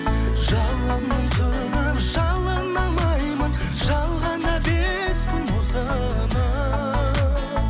жалынып сөніп жалына алмаймын жалғанда бес күн осынау